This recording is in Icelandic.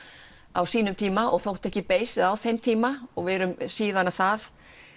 á sínum tíma og þótti ekki beysið á þeim tíma og við erum síðan það